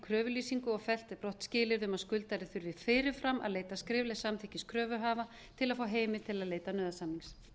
kröfulýsingu og fellt er brott skilyrði um að skuldari þurfi fyrir fram að leita skriflegs samþykkis kröfuhafa til að fá heimild til að leita nauðasamnings